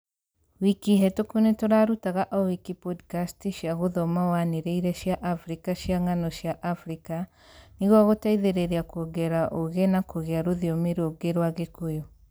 wiki hetũkũ nĩtũrarutaga o wiki podikasti cia gũthoma wanĩrĩire cia Afrika cia ng'ano cia Afrika nĩguo gũteithĩrĩria kuongerera ũũgi na kũgĩa rũthiomi rũngĩ rwa gĩkũyũ